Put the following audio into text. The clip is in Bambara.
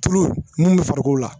Tulu mun bɛ farikolo la